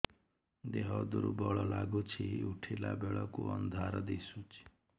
ଦେହ ଦୁର୍ବଳ ଲାଗୁଛି ଉଠିଲା ବେଳକୁ ଅନ୍ଧାର ଦିଶୁଚି